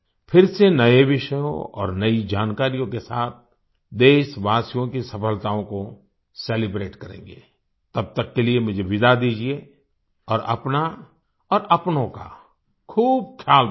फिर से नए विषयों और नई जानकारियों के साथ देशवासियों की सफलताओं को सेलिब्रेट करेंगे तब तक के लिए मुझे विदा दीजिये और अपना और अपनों का खूब ख्याल रखिए